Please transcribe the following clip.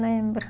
Lembro.